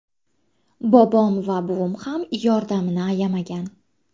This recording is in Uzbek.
Bobom va buvim ham yordamini ayamagan.